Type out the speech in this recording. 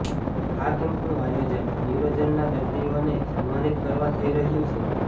આ કેમ્પનું આયોજન ન્યુરોજનના દર્દીઓને સન્માનિત કરવા થઈ રહ્યું છે